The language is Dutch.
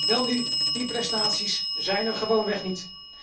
Welnu, die prestaties zijn er gewoonweg niet.